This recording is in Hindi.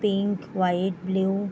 pink white blue --